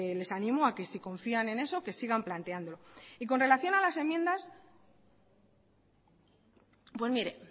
les animo a que si confían en eso que sigan planteándolo y con relación a las enmiendas pues mire